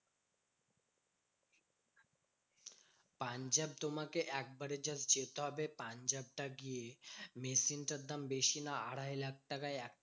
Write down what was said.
পাঞ্জাব তোমাকে একবারের জন্য যেতে হবে। পাঞ্জাবটা গিয়ে machine টার দাম বেশি না, আড়াই লাখ টাকায় একটা